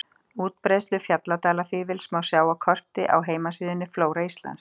Útbreiðslu fjalldalafífils má sjá á korti á heimasíðunni Flóra Íslands.